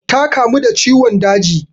Ta kamu da ciwon daji.